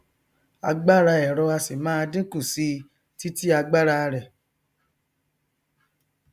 agbára ẹrọ á sì máà dínkù síi titi agbára rẹ